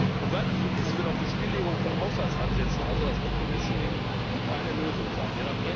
Und weil das so ist, wird auch die Stilllegung von Haushaltsansätzen, also das decommissioning keine Lösung sein.